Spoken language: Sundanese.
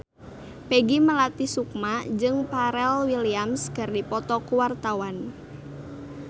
Peggy Melati Sukma jeung Pharrell Williams keur dipoto ku wartawan